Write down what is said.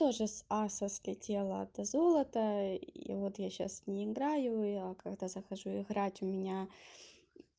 тоже с асос слетело это золото и вот я сейчас не играю и я когда захожу играть у меня